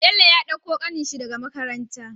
Bello ya ɗauko kanan shi daka makaranta